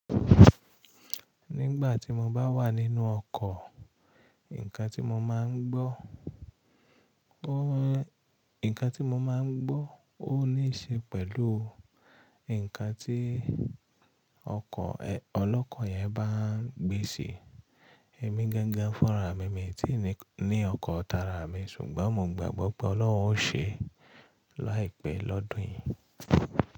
Nígbà tí mo bá wà nínú ọkọ̀, ǹkan tí mo máa ń gbọ́, ǹkan tí mo máa ń gbọ́ ó ní ṣe pẹ̀lú ǹkan tí ọkọ̀, ọlọ́kọ̀ yẹn bá ń gbé sí e. Èmi gangan fúnra mi, mi ò tí ì ní ọkọ̀ tara mi ṣùgbọ́n mo gbagbọ́ pé Ọlọ́run ó ṣe é láìpẹ́ lọ́dún yìí.